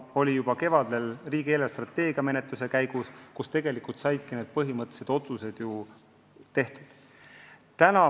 See oli nii juba kevadel riigi eelarvestrateegia arutamise käigus, kus tegelikult saidki põhimõttelised otsused tehtud.